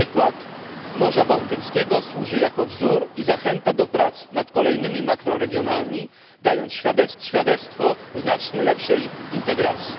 Przykład Morza Bałtyckiego służy jako wzór i zachęta do prac nad kolejnymi makroregionami, dając świadectwo znacznie lepszej integracji.